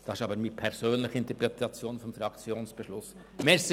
Das ist aber meine persönliche Interpretation des Fraktionsbeschlusses.